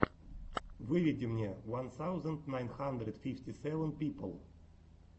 выведи мне ван саузенд найн хандрэд фифти сэвэн пипл